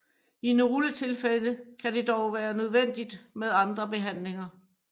I nogle tilfælde kan det dog være nødvendigt med andre behandlinger